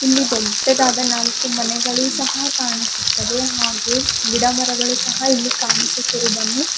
ಇಲ್ಲಿ ದೊಡ್ಡದಾದ ನಾಲ್ಕು ಮನೆಗಳು ಸಹ ಕಾಣುಸ್ತಿದಾವೆ ಹಾಗೆ ಗಿಡಮರಗಳು ಸಹ ಇಲ್ಲಿ ಕಾಣಿಸುತಿದ್ದಾವೆ.